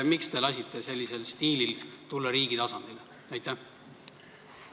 Miks te olete lasknud sellisel stiilil ka riigi valitsemises maad võtta?